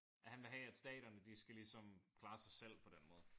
Ja han vil have at staterne de skal ligesom klare sig selv på den måde